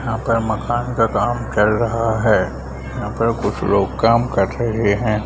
यहाँ पर मकान का काम चल रहा है यहाँ पर कुछ लोग काम कर रहे हैं ।